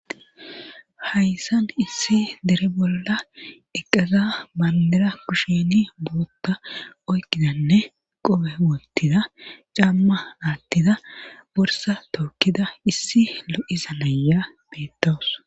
Hayssan issi dere bolla eqqaza manera kusheni bootta oykkidanne qope woottida camma aattida borsa tookkida issi lo'isa naya beettoos.